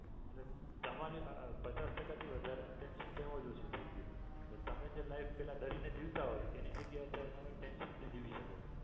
તમારે પચાસ ટકા થી વધારે નું tension તો એમ જ ઓછું થઈ ગયું તમે છે ને life પેહલા ડરી ને જીવતા હોય એની જગ્યાએ અત્યારે તમે tension free જીવી શકો.